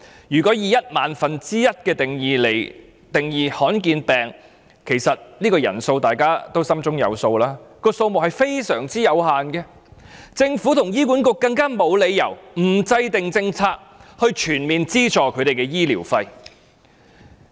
如果以一萬分之一的香港人口來定義罕見疾病，其實大家心中有數，這個人數非常有限，政府和醫管局沒理由不制訂政策，全面資助他們的醫療費。